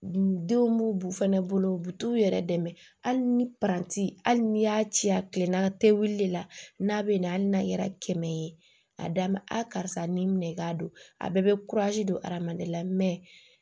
Denw b'u fɛnɛ bolo u bɛ t'u yɛrɛ dɛmɛ hali ni paranti hali n'i y'a ci a kilenna tegili le la n'a bɛ na hali n'a kɛra kɛmɛ ye a d'a ma a karisa ni minɛ ka don a bɛɛ bɛ don adamaden na